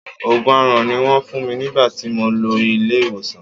Òògùn aaràn ni Wọ́n fún mi nígbà tí mo lọ ilé ìwòsàn.